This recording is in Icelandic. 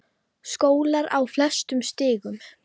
Skólar á flestum stigum.